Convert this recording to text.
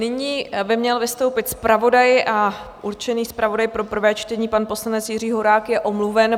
Nyní by měl vystoupit zpravodaj, ale určený zpravodaj pro prvé čtení, pan poslanec Jiří Horák, je omluven.